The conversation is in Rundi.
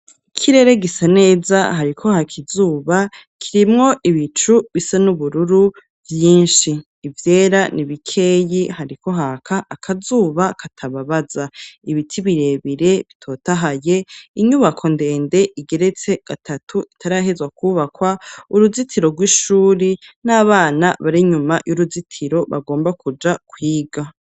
Ikirere gisa neza hariko hakizuba kirimwo ibicu bisa n'ubururu vyinshi ivyera nibikeyi hariko haka akazuba katababaza, ibiti birebire bitotahaye inyubako ndende igeretse gatatu itarahezwa kubakwa, uruzitiro rw'ishuri n'abana barinyuma y'uruzitiro bagomba kuja kwiga.